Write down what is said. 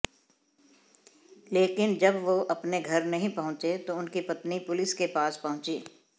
लेकिन जब वो अपने घर नहीं पहुंचे तो उनकी पत्नी पुलिस के पास पहुंची